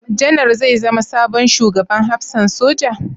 Janar zai zama sabon Shugaban Hafsan Soja?